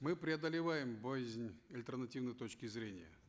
мы преодолеваем боязнь альтернативной точки зрения